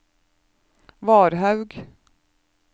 Varhaug